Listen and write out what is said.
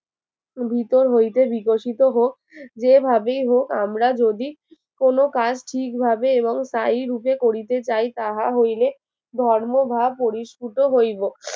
ভিতর হইতে বিকশিত হোক যেভাবেই হোক আমরা যদি কোন কাজ ঠিকভাবে এবং তাই রূপে করিতে চাই তাহা হইলে ধর্মভাব পরিসফুটো হইবো